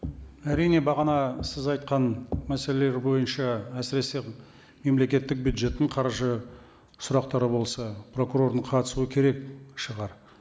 әрине бағана сіз айтқан мәселелер бойынша әсіресе мемлекеттік бюджеттің қаржы сұрақтары болса прокурордың қатысуы керек шығар